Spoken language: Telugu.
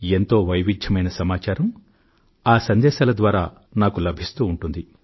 ఆ సందేశాల ద్వారా ఎంతో వైవిధ్యమైన సమాచారం నాకు లభిస్తూ ఉంటుంది